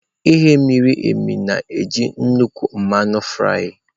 Ighe miri emi na-eji nnukwu mmanụ fry.